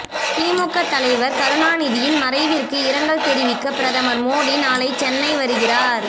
திமுக தலைவர் கருணாநிதியின் மறைவிற்கு இரங்கல் தெரிவிக்க பிரதமர் மோடி நாளை சென்னை வருகிறார்